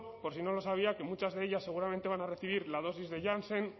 por si no lo sabía que muchas de ellas seguramente van a recibir la dosis de janssen